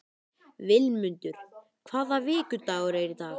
Vilmundur, hvaða vikudagur er í dag?